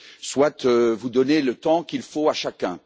soit vous donnez le temps qu'il faut à chacun.